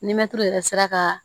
Ni mɛtiri yɛrɛ sera ka